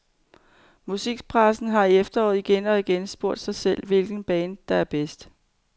Musikpressen har i efteråret igen og igen spurgt sig selv, hvilket band, der er bedst.